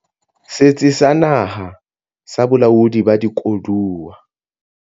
Setsi sa Naha sa Bolaodi ba Dikoduwa.